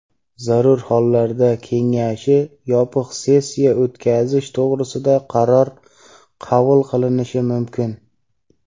zarur hollarda Kengashi yopiq sessiya o‘tkazish to‘g‘risida qaror qabul qilinishi mumkin.